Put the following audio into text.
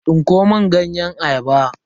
Tsinko mun ganyen ayaba.